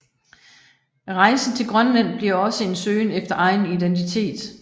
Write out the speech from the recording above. Rejsen til Grønland bliver også en søgen efter egen identitet